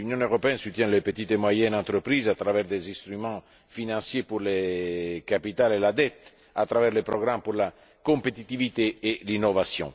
L'Union européenne soutient les petites et moyennes entreprises à travers des instruments financiers pour le capital et la dette, à travers des programmes pour la compétitivité et l'innovation.